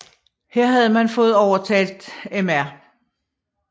Her havde man fået overtalt Mr